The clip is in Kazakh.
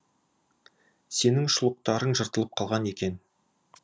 сенің шұлықтарың жыртылып қалған екен